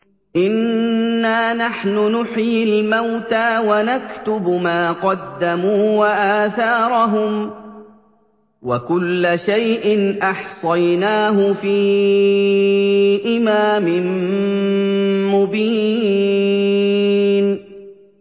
إِنَّا نَحْنُ نُحْيِي الْمَوْتَىٰ وَنَكْتُبُ مَا قَدَّمُوا وَآثَارَهُمْ ۚ وَكُلَّ شَيْءٍ أَحْصَيْنَاهُ فِي إِمَامٍ مُّبِينٍ